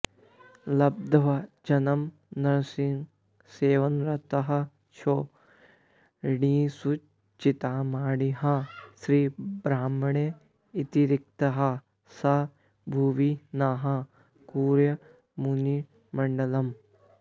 लब्ध्वाजन्म नृसिंहसेवनरतःक्षोणीसुचिन्तामणिः श्रीब्रह्मण्य इतीरितः स भुवि नः कुर्यान्मुनिर्मङ्गलम्